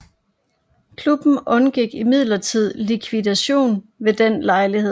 Klubben undgik imidlertid likvidation ved den lejlighed